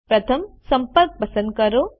પ્રથમ સંપર્ક પસંદ કરો